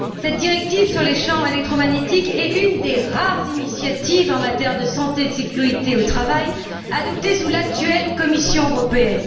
Cette directive sur les champs électromagnétiques est une des rares initiatives en matière de santé et de sécurité au travail adoptée sous l'actuelle Commission européenne.